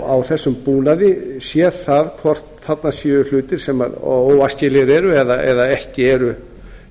á þessum búnaði séð það hvort þarna séu hlutir sem óæskilegir eru eða ekki eru